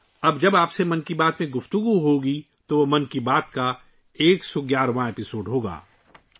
اب جب ، ہم آپ کے ساتھ 'من کی بات' میں بات کریں گے، تو یہ 'من کی بات' کا 111واں ایپی سوڈ ہوگا